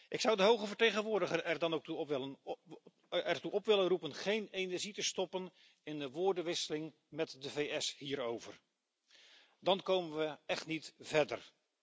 Ik zou de hoge vertegenwoordiger er dan ook toe op willen roepen geen energie te stoppen in de woordenwisseling met de VS hierover. Dan komen we echt niet verder.